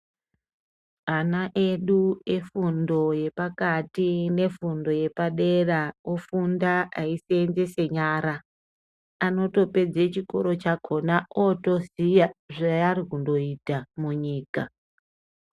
Ana edu efundo dzepakati neye fundo yepadera ofunda eisenzesa nyara anotopedza chikora chakona otoziya zvaari kundoita munyika.